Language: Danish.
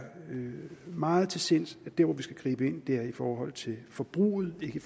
meget til sinds at der hvor vi skal gribe ind er i forhold til forbruget ikke